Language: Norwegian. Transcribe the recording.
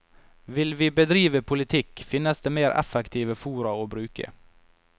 Vil vi bedrive politikk, finnes det mer effektive fora å bruke.